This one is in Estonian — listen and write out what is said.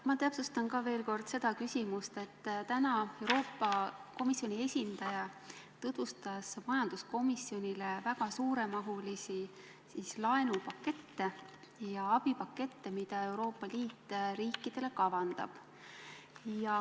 Ma täpsustan veel kord seda, et täna Euroopa Komisjoni esindaja tutvustas majanduskomisjonile väga suure mahuga laenupakette ja abipakette, mida Euroopa Liit riikidele kavandab.